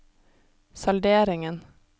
salderingen